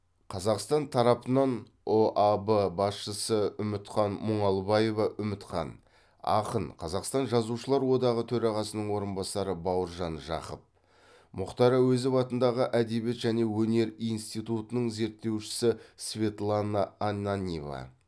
қазақстан тарапынан ұаб басшысы үмітхан мұңалбаева үмітхан ақын қазақстан жазушылар одағы төрағасының орынбасары бауыржан жақып мұхтар әуезов атындағы әдебиет және өнер институтының зерттеушісі светлана ананьева